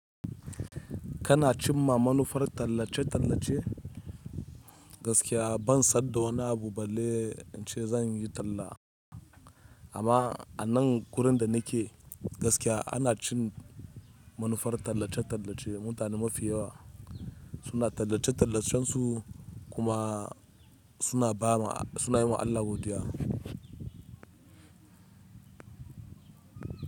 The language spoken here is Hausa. Kana cin ma manufar tallace-tallace? Gaskiya ban san da wani abu balle in ce zan yi talla. Amma a nan wurin da nake gaskiya ana cin manufar tallace-tallace. Mutane mafi yawa suna tallace-tallacen su kuma suna yi wa Allah godiya.